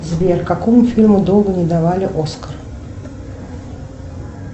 сбер какому фильму долго не давали оскар